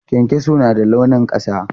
Kyankyaso na da launin ƙasa.